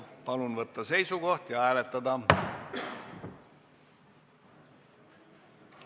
Palun võtta seisukoht ja hääletada!